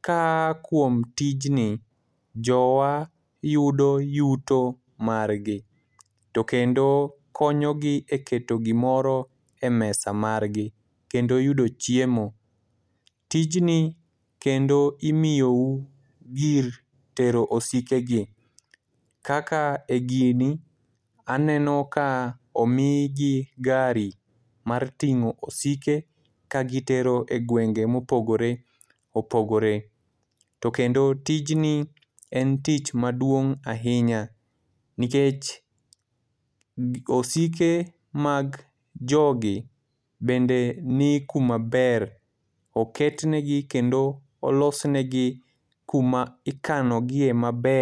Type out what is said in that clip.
kaa kuom tijni, jowa yudo yuto margi. To kendo konyo gi e keto gimoro e mesa margi. Kendo yudo chiemo. Tijni kendo imiyo u gir tero osike gi. Kaka e gini, aneno ka omigi gari mar ting'o osike, ka gitero e gwenge mopogore opogore. To kendo tijni en tich maduong' ahinya. Nikech osike mag jogi, bende ni kuma ber, oket negi kendo olos negi kuma ikano gie maber.